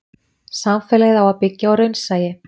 samfélagið á að byggja á raunsæi